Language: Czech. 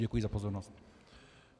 Děkuji za pozornost.